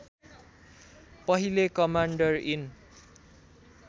पहिले commander in